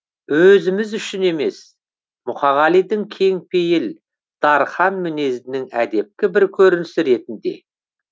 өзіміз үшін емес мұқағалидің кең пейіл дарқан мінезінің әдепкі бір көрінісі ретінде